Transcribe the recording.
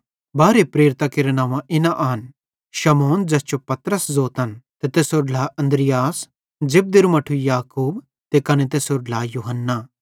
बारहे प्रेरितां केरां नव्वां इना आन शमौन ज़ैस जो पतरस ज़ोतन ते तैसेरो ढ्ला अन्द्रियास जब्देरू मट्ठू याकूब ते कने तैसेरो ढ्ला यूहन्ना